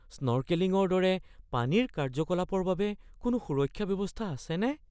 স্নৰ্কেলিংৰ দৰে পানীৰ কাৰ্যকলাপৰ বাবে কোনো সুৰক্ষা ব্যৱস্থা আছেনে?